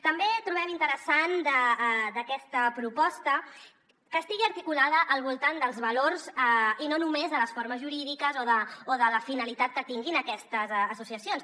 també trobem interessant d’aquesta proposta que estigui articulada al voltant dels valors i no només de les formes jurídiques o de la finalitat que tinguin aquestes associacions